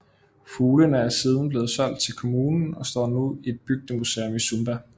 Fuglene er siden blevet solgt til kommunen og står nu i et bygdemuseum i Sumba